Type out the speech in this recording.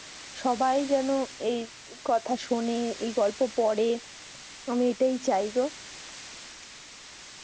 সবাই যেন এই কথা সোনে এই গল্প পরে আমি এটাই চাই গো